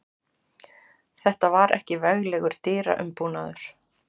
Þetta var ekki veglegur dyraumbúnaður.